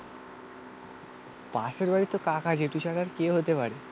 পাশের বাড়ির তো কাকা জেঠু ছাড়া আর কে হতে পারে?